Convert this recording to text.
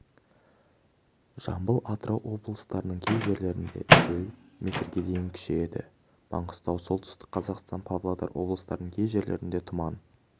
жамбыл атырау облыстарының кей жерлерінде жел метрге дейінкүшейеді маңғыстау солтүстік қазақстан павлодар облыстарының кей жерлерінде тұман